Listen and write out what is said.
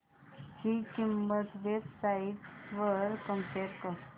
ची किंमत web sites वर कम्पेअर कर